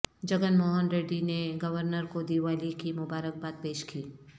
جگن موہن ریڈی نے گورنر کو دیوالی کی مبارک باد پیش کی